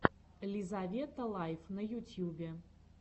лизавета лайф на ютьюбе